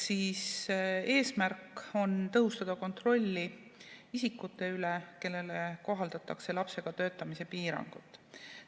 Eesmärk on tõhustada kontrolli isikute üle, kellele kohaldatakse lapsega töötamise piirangut.